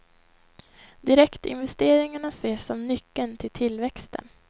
Direktinvesteringarna ses som nyckeln till tillväxten.